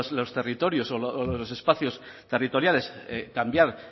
los territorios o los espacios territoriales cambiar